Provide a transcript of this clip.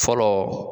Fɔlɔ